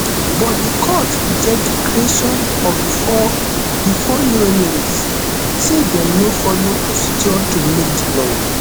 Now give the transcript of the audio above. but di court reject di creation of di four di four new emirates say dem no follow procedure to make di law